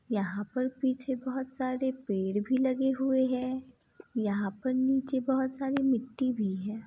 यहां पर पीछे बहोत सारे पेड़ भी लगे हुए है। यहाँ पर नीचे बहोत सारी मिट्टी भी है।